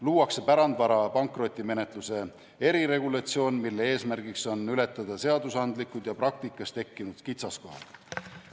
Luuakse pärandvara pankrotimenetluse eriregulatsioon, mille eesmärk on ületada seadusandlikud ja praktikas tekkinud kitsaskohad.